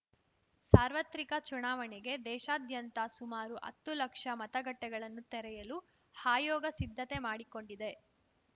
ಸಾರ್ವತ್ರಿಕ ಚುನಾವಣೆಗೆ ದೇಶಾದ್ಯಂತ ಸುಮಾರು ಹತ್ತು ಲಕ್ಷ ಮತಗಟ್ಟೆಗಳನ್ನು ತೆರೆಯಲು ಹಾಯೋಗ ಸಿದ್ಧತೆ ಮಾಡಿಕೊಂಡಿದೆ